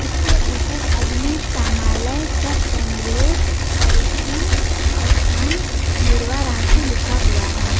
उसके ऊपर अग्निशामलय सह केंद्रीय पपरीक्षण स्थान धुर्वा लिखा हुआ है।